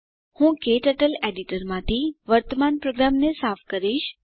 હું ક્ટર્ટલ એડીટરમાંથી વર્તમાન પ્રોગ્રામને સાફ કરીશ